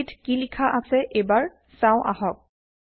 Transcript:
লিপিত কি লিখা আছে এবাৰ চাও আহক